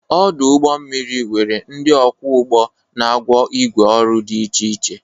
Ọdụ ụgbọ mmiri nwere ndị ọkwọ ụgbọ na agwọ igwe ọrụ dị iche iche.